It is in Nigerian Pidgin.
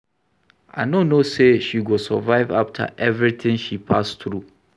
I no know say she go survive after everything she pass through